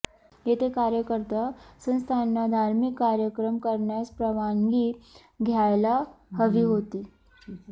येथे कार्यकर्ते संस्थांना धार्मिक कार्यक्रम करण्यास परवानगी द्यायला हवी होती